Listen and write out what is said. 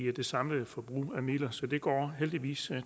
det samlede forbrug af midler så det går heldigvis